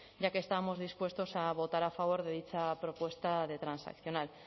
ya que estábamos dispuestos a votar a favor de dicha propuesta de transaccional